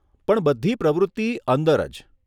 પણ બધી પ્રવૃત્તિ અંદર જ.